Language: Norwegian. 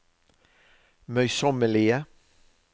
møysommelige